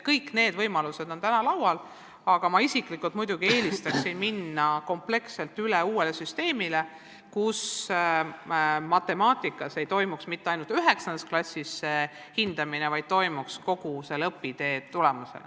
Kõik need võimalused on täna laual, aga ma isiklikult muidugi eelistaksin minna kompleksselt üle uuele süsteemile, kus matemaatikas ei toimuks hindamine mitte ainult 9. klassis, vaid kogu õpitee jooksul.